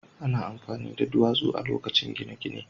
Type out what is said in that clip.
Ana amfani da duwatsu a lokacin gine-gine.